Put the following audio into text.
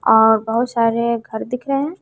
और बहुत सारे घर दिख रहे हैं।